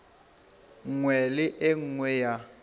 nngwe le e nngwe ya